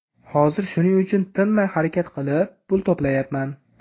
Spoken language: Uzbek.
Hozir shuning uchun tinmay harakat qilib, pul to‘playapman.